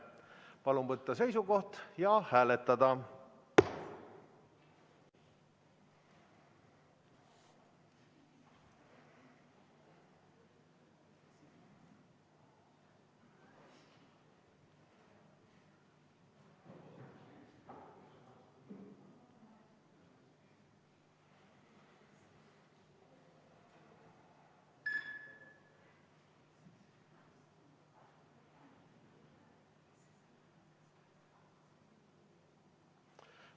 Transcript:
Palun võtta seisukoht ja hääletada!